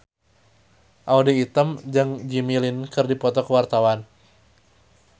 Audy Item jeung Jimmy Lin keur dipoto ku wartawan